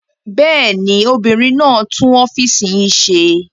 Bẹ́ẹ̀ ni, obìnrin náà tún ọ́fíísì yín ṣe.